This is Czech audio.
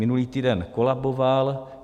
Minulý týden kolaboval.